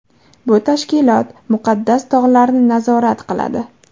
Bu tashkilot Muqaddas tog‘larni nazorat qiladi.